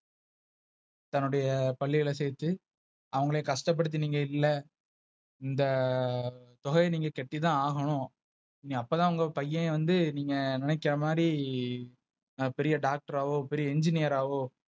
தன்னுடைய பள்ளில சேத்து அவங்களே கஷ்டப்படுத்தி நீங்க இல்ல. இந்த தொகையை நீங்க கேட்டுத்தான் ஆகணும். நீ அப்ப தான் உங்க பையன் வந்து நீங்க நினைக்கற மாதிரி பெரிய Doctor பெரிய Engineer வோ.